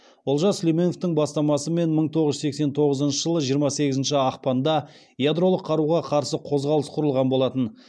олжас сүлейменовтің бастамасымен мың тоғыз жүз сексен тоғызыншы жылы жиырма сегізінші ақпанда ядролық қаруға қарсы қозғалыс құрылған болатын